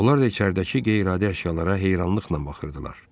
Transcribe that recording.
Onlar da içəridəki qeyri-adi əşyalara heyranlıqla baxırdılar.